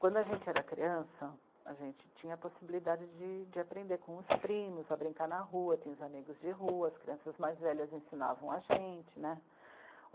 Quando a gente era criança, a gente tinha a possibilidade de, de aprender com os primos, a brincar na rua, tinha os amigos de rua, as crianças mais velhas ensinavam a gente, né.